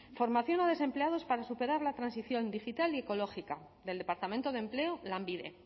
formación a desempleados para superar la transición digital ecológica del departamento de empleo lanbide